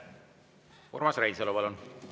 Urmas Reinsalu, palun!